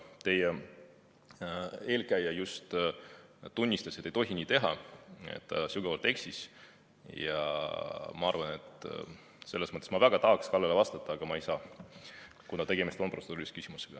Teie eelkäija just tunnistas, et ei tohi nii teha ja et ta sügavalt eksis, ja ma arvan, et selles mõttes ma väga tahaksin Kallele vastata, aga ma ei saa, kuna tegemist on protseduurilise küsimusega.